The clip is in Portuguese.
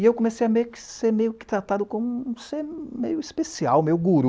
E eu comecei a ser meio que tratado como um ser meio especial, meio guru.